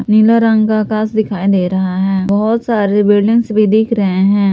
नीला रंग का आकाश दिखाई दे रहा है बहोत सारी बिल्डिंग्स भी दिख रहे हैं।